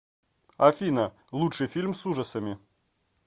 афина лучший фильм с ужасами